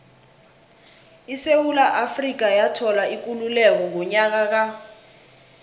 isewula afrika yathola ikululeko ngonyaka ka